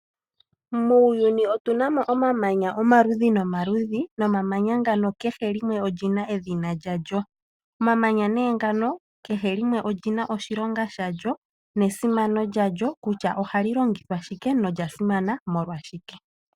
Muuyuni otuna mo omaludhi nomaludhi, nomamanya ngaka kehe limwe olyina edhina lya lyo. Omamanya ne ngaka kehe limwe olyina oshilonga shalyo, nesimano lyalyo kutya ohali li longithwa shike na olyasimana molwa shike.